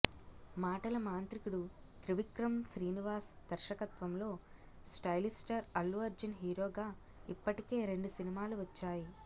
మాటల మాంత్రికుడు త్రివిక్రమ్ శ్రీనివాస్ దర్శకత్వంలో స్టైలిష్ స్టార్ అల్లు అర్జున్ హీరోగా ఇప్పటికే రెండు సినిమాలు వచ్చాయి